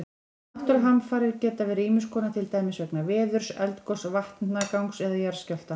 Náttúruhamfarir geta verið ýmis konar, til dæmis vegna veðurs, eldgoss, vatnagangs eða jarðskjálfta.